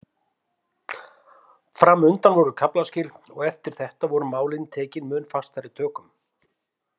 Fram undan voru kaflaskil og eftir þetta voru málin tekin mun fastari tökum.